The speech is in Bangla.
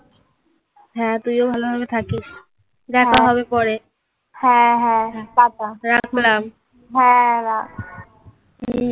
হ্যাঁ তুইও ভালোভাবে থাকিস. দেখা হবে পরে. হ্যাঁ হ্যাঁ. tata. রাখলাম. হ্যাঁ. রাখ।